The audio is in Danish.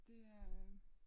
Det er øh